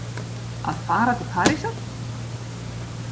Að fara til Parísar?